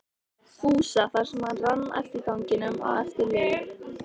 Fúsa þar sem hann rann eftir ganginum á eftir Lillu.